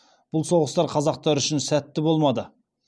бұл соғыстар қазақтар үшін сәтті болмады